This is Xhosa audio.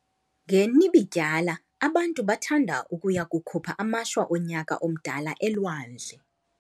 NgeNibidyala abantu bathanda ukuya kukhupha amashwa onyaka omdala elwandle.